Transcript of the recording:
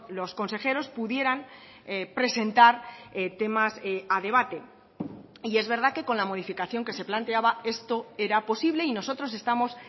los consejeros pudieran presentar temas a debate y es verdad que con la modificación que se planteaba esto era posible y nosotros estamos